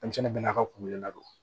Denmisɛnnin bɛɛ n'a ka kulu ladon